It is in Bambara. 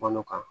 Balo kan